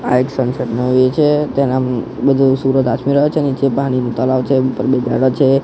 આ એક સનસેટ નો વ્યૂ છે તેના બધું સુરજ આથમી રહ્યો છે નીચે પાણીનું તલાવ છે ઉપર બે જાડવા છે.